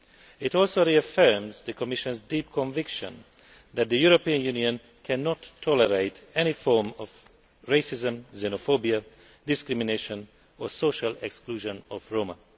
It also reaffirms the Commission's deep conviction that the European Union cannot tolerate any form of racism, xenophobia, discrimination or social exclusion of Roma.